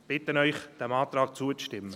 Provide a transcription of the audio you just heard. Ich bitte Sie, diesem Antrag zuzustimmen.